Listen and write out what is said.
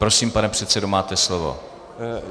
Prosím, pane předsedo, máte slovo.